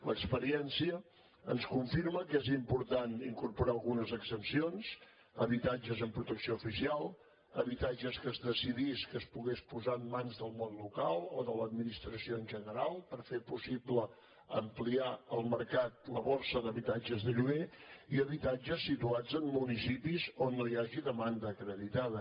l’experiència ens confirma que és important incorporar algunes exempcions habitatges en protecció oficial habitatges que es decidís que es poguessin posar en mans del món local o de l’administració en general per fer possible ampliar al mercat la borsa d’habitatges de lloguer i habitatges situats en municipis on no hi hagi demanda acreditada